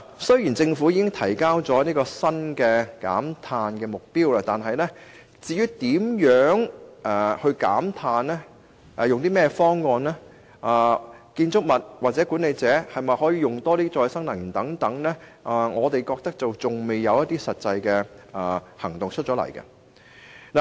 雖然政府已提出新的減碳目標，但對於如何減碳、採用何種方案，或建築物或管理公司可否多用可再生能源等問題，我們覺得仍未有實際建議。